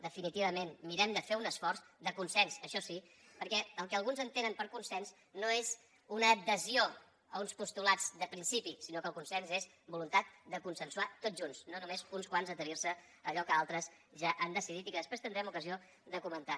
definitivament mirem de fer un esforç de consens això sí perquè el que alguns entenen per consens no és una adhesió a uns postulats de principi sinó que el consens és voluntat de consensuar tots junts no només uns quants adherir se a allò que altres ja han decidit i que després tindrem ocasió de comentar